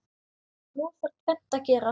Nú þarf tvennt að gerast.